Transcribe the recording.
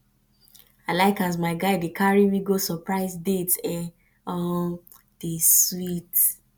i like as my guy dey carry me go surprise dates e um dey sweet